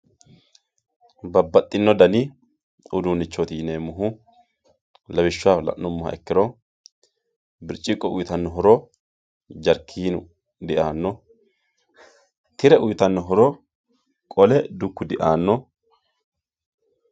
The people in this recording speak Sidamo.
babbaxino dani uduunnichooti yineemmohu lawishsaho la'nummoro birciqqo uyiitanno, horo jarkiinu diaanno, tire uyiitanno horo qole dukku diaanno.